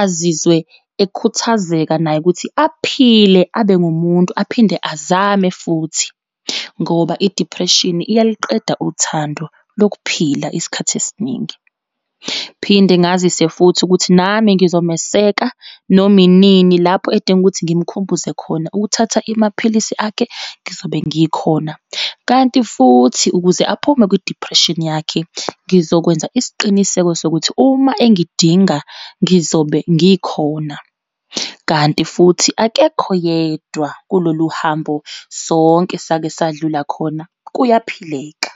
azizwe ekhuthazeka naye, ukuthi aphile abe ngumuntu aphinde azame futhi, ngoba i-depression iyaliqeda uthando lokuphila isikhathi esiningi. Phinde ngazise futhi ukuthi nami ngizomeseka noma inini lapho edinga ukuthi ngimkhumbuze khona ukuthatha imaphilisi akhe, ngizobe ngikhona. Kanti futhi ukuze aphume kwi-depression yakhe, ngizokwenza isiqiniseko sokuthi uma engidinga ngizobe ngikhona, kanti futhi akekho yedwa kulolu hambo, sonke sake sadlula khona, kuyaphileka.